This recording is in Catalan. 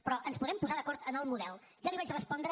però ens podem posar d’acord en el model ja li ho vaig respondre